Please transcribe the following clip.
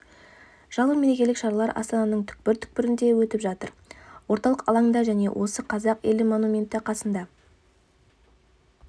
жалпы мерекелік шаралар астананың түкпір-түкпірінде өтіп жатыр орталық алаңда және осы қазақ елі монументі қасында